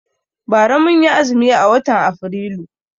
Bara mun yi azumi a watan Afrilu.